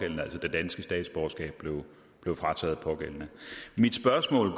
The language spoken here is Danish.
danske statsborgerskab blev frataget den pågældende mit spørgsmål